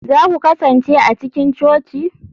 za ku kasance a cikin coci?